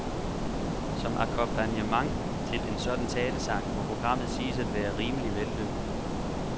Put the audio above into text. Som akkompagnement til en sådan talesang må programmet siges at være rimelig vellykket.